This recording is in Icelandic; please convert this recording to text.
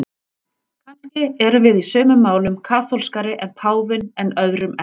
Kannski erum við í sumum málum kaþólskari en páfinn en öðrum ekki.